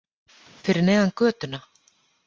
Fyrir neðan götuna.